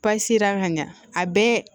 ka ɲa a bɛɛ